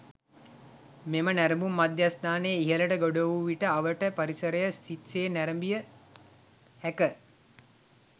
මෙම නැරඹුම් මධ්‍යස්ථානයේ ඉහළට ගොඩ වූ විට අවට පරිසරය සිත් සේ නැරඹිය හැක.